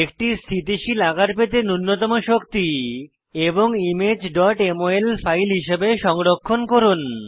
একটি স্থিতিশীল আকার পেতে নুন্যতম শক্তি এবং ইমেজ mol ফাইল হিসাবে সংরক্ষণ করুন